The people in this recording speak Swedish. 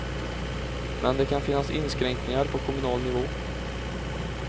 Men det kan finnas inskränkningar på kommunal nivå.